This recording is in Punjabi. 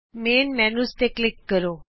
ਮੁਖ ਮੈਨਯੂ ਤੇ ਕਲਿਕ ਕਰੋ